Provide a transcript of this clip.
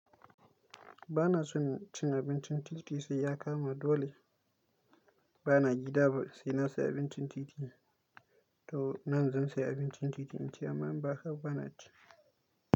Ba na son cin abincin titi sai ya kama dole. Ba na gida ba sai na saya abincin titi. To nan zan saya abincin titi, in ci amma in ba haka ba bana ci.